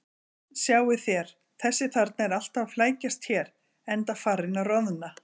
Sjáið þér: Þessi þarna er alltaf að flækjast hér, enda farinn að roðna.